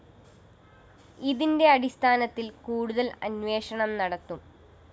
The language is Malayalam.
ഇതിന്റെ അടിസ്ഥാനത്തില്‍ കൂടുതല്‍ അന്വേഷണം നടത്തും